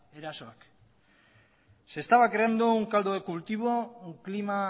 erasoak se estaba creando un caldo de cultivo un clima